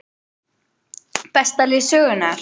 Besta lið sögunnar???